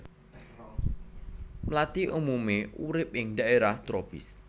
Mlathi umumé urip ing dhaérah tropis